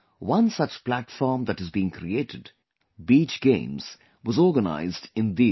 One such platform that has been created Beach Games, was organized in Diu